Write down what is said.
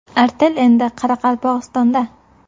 Artel endi Qoraqalpog‘istonda!.